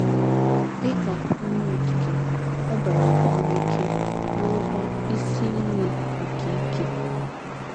Dị ka Onye Okike, ọ ‘ bara ụba n’ike, ’ bụrụkwa Isi Iyi nke “ ike. ”